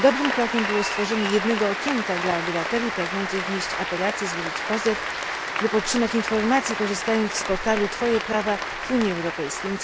Dobrym krokiem było stworzenie jednego okienka dla obywateli pragnących wnieść apelacje, złożyć pozew lub otrzymać informacje, korzystając z portalu Twoje prawa w Unii Europejskiej.